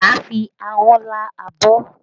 Má fi ahọ́n lá abọ́!